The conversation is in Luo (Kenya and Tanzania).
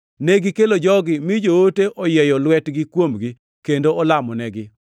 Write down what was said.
Negikelo jogi mi joote oyieyo lwetgi kuomgi kendo olamonegi.